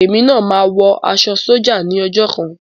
Èmi náà máa wọ aṣọ sójà ní ọjọ́ kan.